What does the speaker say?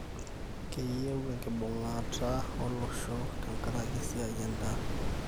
kiiyieu enkibung'ata ooloshon tenkaraki esiai endaa